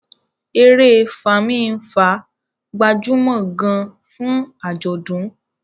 èrè Fami-nfa gbajúmò gaan fún ajọdun